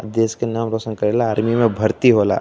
देश के नाम रोशन करेला। आर्मी में भर्ती होला।